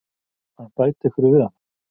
að bæta einhverju við hana.